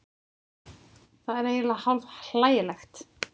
Það er eiginlega hálf hlægilegt